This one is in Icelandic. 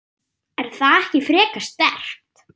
Er það ekki frekar sterkt?